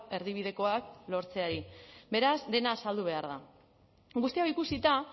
erdibidekoak lortzeari beraz dena azaldu behar da guzti hau ikusita